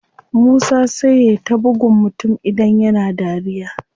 Musa sai yai ta buggun mutum idan yana dariya.